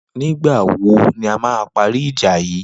Nigbà wó ni àmà pàrí ijà yi?